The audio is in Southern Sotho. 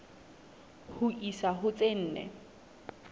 ho isa ho tse nne